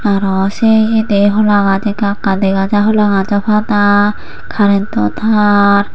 aro se iyedi holagach ekka ekka dega jai holagajo pada karento taar.